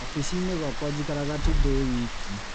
Oficinĩ gwakwa njikara tu ndĩwiki.